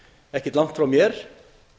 ekkert langt frá mér